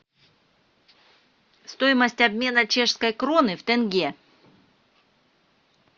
стоимость обмена чешской кроны в тенге